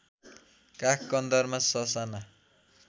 काख कन्दरमा ससाना